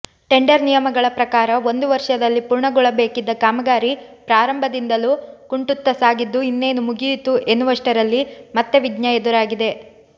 tender ನಿಯಮಗಳ ಪ್ರಕಾರ ಒಂದು ವರ್ಷದಲ್ಲಿ ಪೂರ್ಣಗೊಳ್ಳಬೇಕಿದ್ದ ಕಾಮಗಾರಿ ಪ್ರಾರಂಭದಿಂದಲೂ ಕುಂಟುತ್ತಸಾಗಿದ್ದು ಇನ್ನೇನು ಮುಗಿಯಿತು ಎನ್ನುವಷ್ಟರಲ್ಲಿ ಮತ್ತೆ ವಿಘ್ನ ಎದುರಾಗಿದೆ